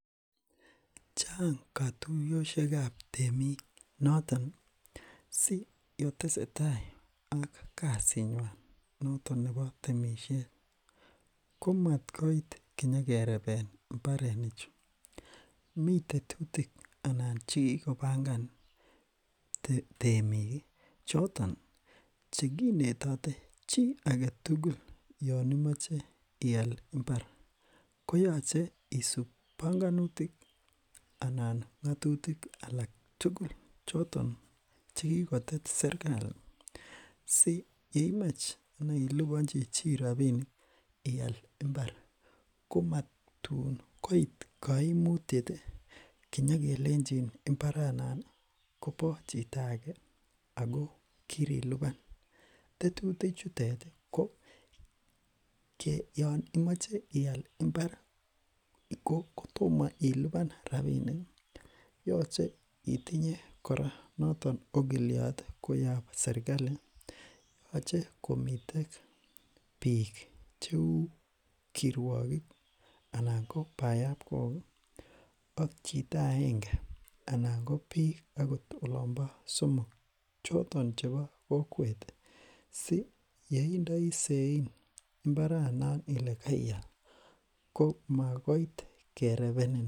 Chang kotuyoshekab temik noton siyon tesetai ak kasinywan noton nepo temishet komat koit kinyekereben mbareni chu mitetutik ana chekikopangan temik choton chekinetote chi agetugul yon imoche ial mbar koyoche isup bongonutik anan ngotutik Alan tugul choton chekikotet serkali si yeimach ana iliponchi chii rapinik ial mbar komatun koit koimutieti kinyokelenchini mbaranoni kopo chito ake Ako kirilipan tetutik chuteti koyon imoche ial mbar kotomo ilipan rapinik koyoche itinyebkora noto okilit koyob serkali yoche komiten biik cheu kirwokik anan ko boyob kok ak chito aenge anan ko biik ot olompo somok choton chebo kokwet si yeindoi sein mbaranon Ile keial komat koit kerebenin